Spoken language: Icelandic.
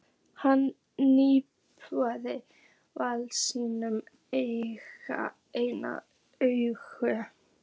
Hann trúir varla sínum eigin augum.